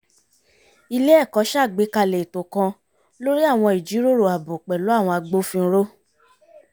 ilé ẹ̀kọ́ ṣàgbékalẹ̀ ètò kan lórí àwọn ìjíròrò ààbò pẹ̀lú àwọn agbófinró